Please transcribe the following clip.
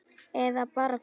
Eða bara fullur.